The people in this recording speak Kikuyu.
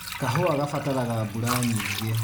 Kahũwa gabataraga mbura nyingĩ.